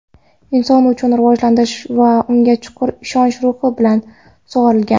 inson uchun xavotirlanish va unga chuqur ishonch ruhi bilan sug‘orilgan.